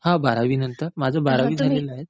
हा, बारावीनंतर. माझं बारावी झालेलं आहे.